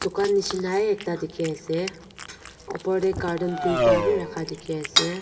kwanishina a ekta dikhi ase upor tey curtan duita wi rakha dikhi ase.